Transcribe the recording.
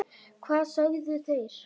Hvað sögðu þeir?